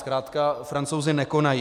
Zkrátka Francouzi nekonají.